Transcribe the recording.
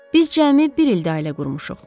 Biz cəmi bir ildi ailə qurmuşuq.